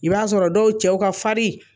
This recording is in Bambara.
I b'a sɔrɔ dɔw cɛw ka fari.